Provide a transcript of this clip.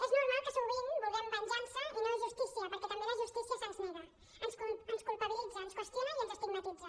és normal que sovint vulguem venjança i no justícia perquè també la justícia se’ns nega ens culpabilitza ens qüestiona i ens estigmatitza